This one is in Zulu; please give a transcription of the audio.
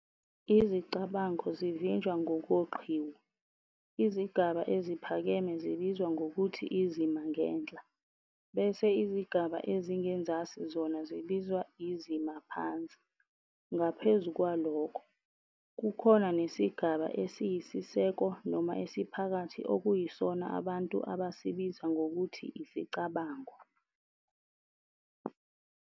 Izicabango zijinjwa ngokoqhiwu, izigaba eziphakeme zibizwa ngokuthi "izima ngenhla" bese izigaba ezingezansi zona zibizwa "izima phansi". Ngaphezu kwalokho, kukhona nesigaba esiyisiseko noma esiphakathi okuyisona abantu abasibiza ngokuthi isicabango.